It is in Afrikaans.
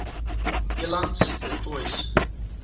elands du toits